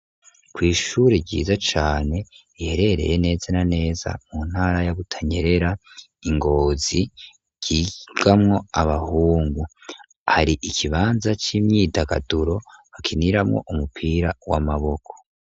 ku ishuri ryiza cane riherereye neza na neza mu ntara ya Butanyerera I Ngozi ryigamwo abahungu, hari ikibanza c'imyidagaduro hakiniramwo umupira w'amaboko.